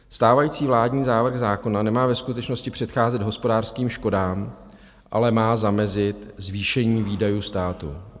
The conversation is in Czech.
Stávající vládní návrh zákona nemá ve skutečnosti předcházet hospodářským škodám, ale má zamezit zvýšení výdajů státu.